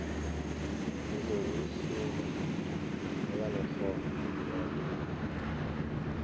kuzokuhlungwa abanekghono bodwa